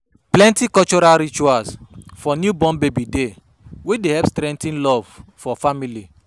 Plenty cultural ritual for newborn baby dey wey dey help strengthen love for family.